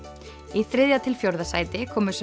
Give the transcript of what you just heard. í þriðja til fjórða sæti komu svo